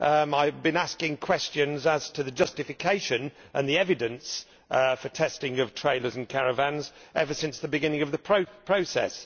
I have been asking questions about the justification and the evidence for the testing of trailers and caravans ever since the beginning of the process.